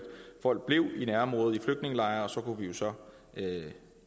folk blev i nærområdet i flygtningelejre og så kunne vi jo så